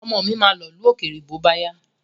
Ọmọ mi ma lọ̀lú òkèrè bóbáyá.